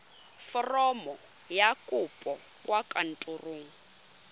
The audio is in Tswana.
foromo ya kopo kwa kantorong